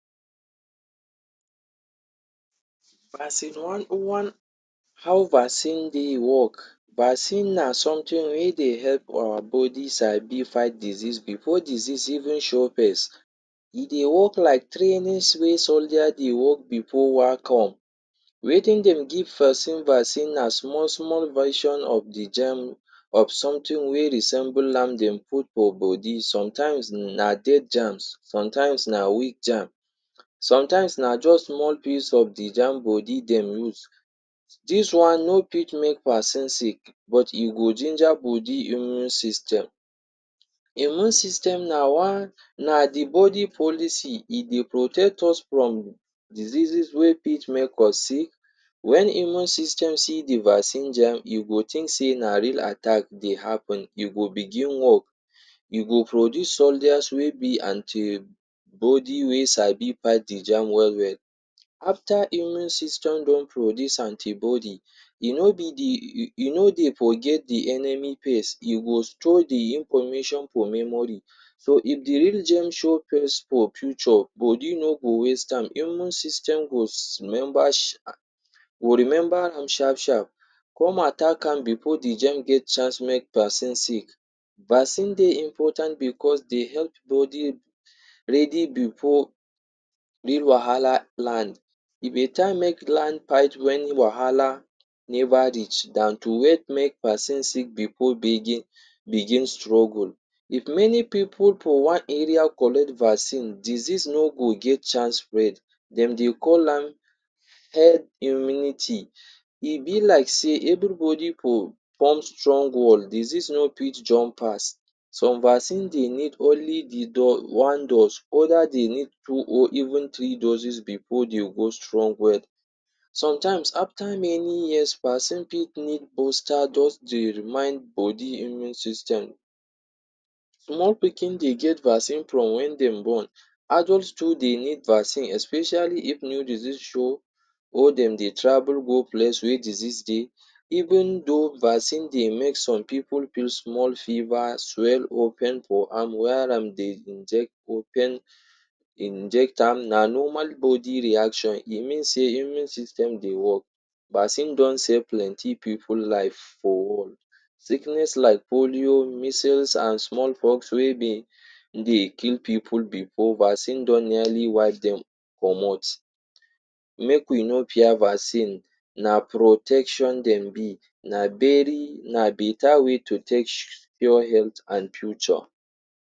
How vaccine dey work. Vaccine na something wey dey help our body sabi fight disease before disease even show face. E dey work like trainings wey soldiers dey work before war come. Wetin dem give person vaccine na small small version of de germ of something wey resemble am dem put for body. Sometimes na dead germs, sometimes na weak germs, sometimes na just small piece of de germ body dem use. Dis one no fit make person sick but e go ginger body immune system. Immune system na one, na de body policy. E dey protect us from diseases wey fit make us sick. Wen immune system see de vaccine germ e go think sey na real attack dey happen. You go begin work. You go produce soldiers wey be antibody wey sabi fight de germ well well. After immune system don produce antibody, e no be de, e no dey forget de enemy pace. E go store de information for memory. So if de real germ show face for future, body no go waste time. Immune system go remember go remember am sharp sharp, come attack am before de germ get chance make person sick. Vaccine dey important because dey help body ready before real wahala land. E better make fight wen wahala never reach dan to wait make person sick before begin begin struggle. If many pipu for one area collect vaccine, disease no go get chance spread. Dem dey call am head immunity. E be like sey everybody for form strong wall. Disease no fit jump pass. Some vaccine dey need only de one dose. Other dey need two or even three doses before dey hold strong well. Sometimes after many years, person fit need booster just dey remind body immune system. Small pikin dey get vaccine from wen dem born. Adult too dey need vaccine especially if new disease show or dem dey travel go place wey disease dey. Even though vaccine dey make some pipu feel small fever, swell or pimple Inject am na normal body reaction. E mean sey immune system dey work. Vaccine don save plenty pipu life for world. Sickness like polio, measles and smallpox wey been dey kill pipu before, vaccine don nearly wipe dem comot. Make we no fear vaccine, na protection dem be. Na very na better way to take pure health and future.